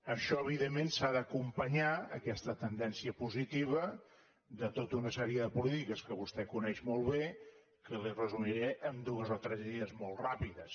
això evidentment s’ha d’acompanyar aquesta tendència positiva de tota una sèrie de polítiques que vostè coneix molt bé que li resumiré en dues o tres idees molt ràpides